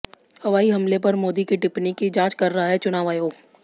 हवाई हमले पर मोदी की टिप्पणी की जांच कर रहा है चुनाव आयोग